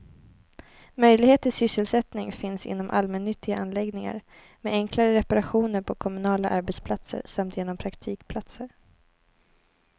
Möjlighet till sysselsättning finns inom allmännyttiga anläggningar, med enklare reparationer på kommunala arbetsplatser samt genom praktikplatser.